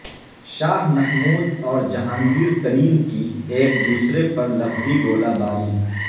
شاہ محمود اور جہانگیر ترین کی ایکدوسرے پرلفظی گولہ باری